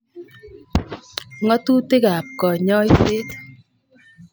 Ngo'tutik kap konyoset